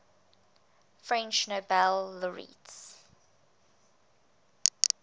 french nobel laureates